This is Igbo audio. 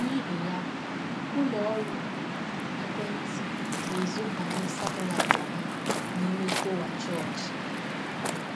N’ihi ya, ụlọ ọrụ ekwe ntị na - ezobanye satellite ha n’ime tọwa chọọchị.